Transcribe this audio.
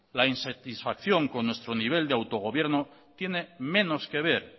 la insatisfacción con nuestro nivel de autogobierno tiene menos que ver